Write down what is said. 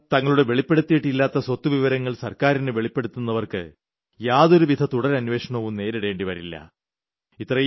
സ്വയമേവ തങ്ങളുടെ വെളിപ്പെടുത്തിയിട്ടില്ലാത്ത സ്വത്ത് വിവരങ്ങൾ സർക്കാറിന് വെളിപ്പെടുത്തുന്നവർക്ക് യാതൊരുവിധ തുടർ അന്വേഷണവും നേരിടേണ്ടി വരില്ല